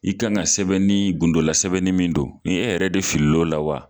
I kan ka sɛbɛnni gundola sɛbɛnni min don i e yɛrɛ de fili l'o la wa.